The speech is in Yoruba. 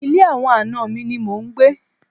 Ilé àwọn àna mi ni mò ń gbé.